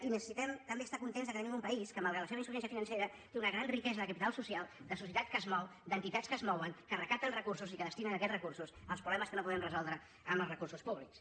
i necessitem també estar contents que tenim un país que malgrat la seva insuficiència financera té una gran riquesa de capital social de societat que es mou d’entitats que es mouen que recapten recursos i que destinen aquests recursos als problemes que no podem resoldre amb els recursos públics